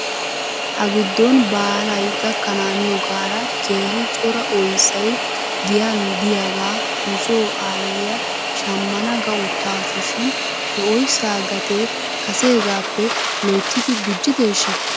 Ha giddon baalay gakkanaaniyoogaara keehi cora oyssay giyan de'iyaagaa nuso aayiyaa shamana ga uttaasu shin he oyssaa gatee kaseegaappe lottidi gujjideeshshaa?